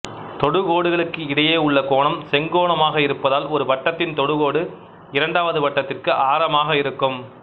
தொடுகோடுகளுக்கு இடையேயுள்ள கோணம் செங்கோணமாக இருப்பதால் ஒரு வட்டத்தின் தொடுகோடு இரண்டாவது வட்டத்திற்கு ஆரமாக இருக்கும்